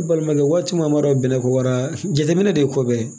Ne balimakɛ waati min a ma dɔn bɛnɛ ko wara jateminɛ de ye ko bɛɛ ye